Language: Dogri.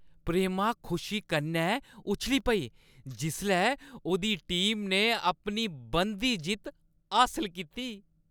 प्रेमा खुशी कन्नै उच्छली पेई जिसलै उʼदी टीमा ने अपनी बनदी जित्त हासल कीती।